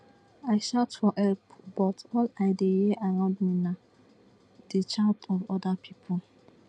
i shout for help but all i dey hear around me na di shout of oda pipo